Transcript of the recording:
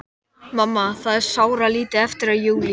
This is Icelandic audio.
Stundum svo sárt að muna, heyrist mér hún hvísla.